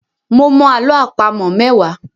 Mo mọ àlọ́ àpamọ̀ mẹ́wàá.